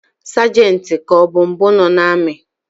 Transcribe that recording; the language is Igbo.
Sergentu ka ọbụ mbụ nọ n’ami